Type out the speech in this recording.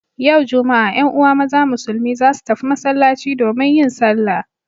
Yau Juma'a 'yan uwa maza musulmi za su tafi masallaci domin yin sallah.